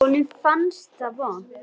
Honum fannst það vont.